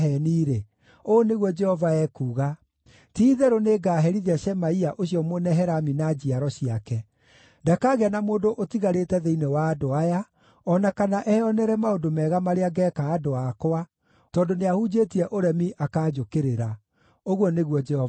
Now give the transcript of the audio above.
ũũ nĩguo Jehova ekuuga: Ti-itherũ nĩngaherithia Shemaia ũcio Mũnehelami na njiaro ciake. Ndakagĩa na mũndũ ũtigarĩte thĩinĩ wa andũ aya, o na kana eyonere maũndũ mega marĩa ngeeka andũ akwa, tondũ nĩahunjĩtie ũremi akaanjũkĩrĩra,’ ” ũguo nĩguo Jehova ekuuga.